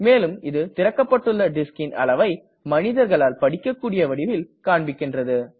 மேலும் இது திறக்கப்பட்டுள்ள discன் அளவை மனிதர்களால் படிக்கக்கூடிய வடிவில் காண்பிக்கின்றது